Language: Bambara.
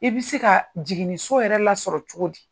I bɛ se ka jiginniso yɛrɛ lasɔrɔ cogo di?